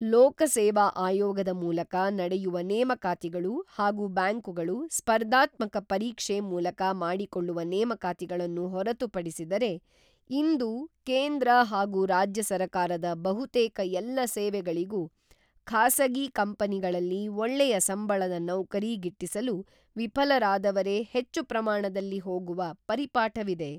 ಲೋಕಸೇವಾ ಆಯೋಗದ ಮೂಲಕ ನಡೆಯುವ ನೇಮಕಾತಿಗಳು ಹಾಗೂ ಬ್ಯಾಂಕುಗಳು ಸ್ಪರ್ಧಾತ್ಮಕ ಪರೀಕ್ಷೆ ಮೂಲಕ ಮಾಡಿಕೊಳ್ಳುವ ನೇಮಕಾತಿಗಳನ್ನು ಹೊರತುಪಡಿಸಿದರೆ ಇಂದು ಕೇಂದ್ರ ಹಾಗೂ ರಾಜ್ಯ ಸರಕಾರದ ಬಹುತೇಕ ಎಲ್ಲ ಸೇವೆಗಳಿಗೂ ಖಾಸಗಿ ಕಂಪನಿಗಳಲ್ಲಿ ಒಳ್ಳೆಯ ಸಂಬಳದ ನೌಕರಿ ಗಿಟ್ಟಿಸಲು ವಿಫ‌ಲರಾದವರೇ ಹೆಚ್ಚು ಪ್ರಮಾಣದಲ್ಲಿ ಹೋಗುವ ಪರಿಪಾಠವಿದೆ.